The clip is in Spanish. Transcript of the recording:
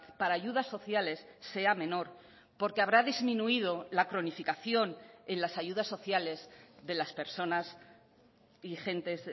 para ayudas sociales sea menor porque habrá disminuido la cronificación en las ayudas sociales de las personas y gentes